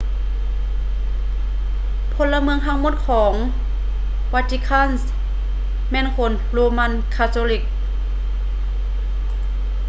ພົນລະເມືອງທັງໝົດຂອງ vatican ແມ່ນຄົນ roman catholic